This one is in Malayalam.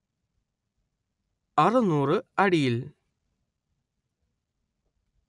അറുനൂറ് അടിയിൽ